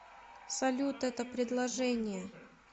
салют это предложение